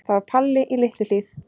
Það var Palli í Litlu-Hlíð.